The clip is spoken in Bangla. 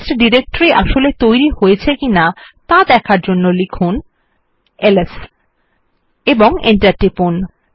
টেস্ট ডিরেকটরি আসলে তৈরী হয়েছে কিনা দেখার জন্য লিখুন এলএস এবং এন্টার টিপুন